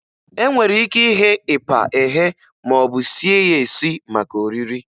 E nwere ike ighe ịpa eghe maọbụ sie ya esi maka oriri.